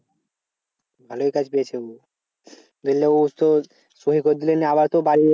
ভালোই কাজ পেয়েছে উ নাহলে উ তো সই করে দিলে নিয়ে আবার তো বাড়ি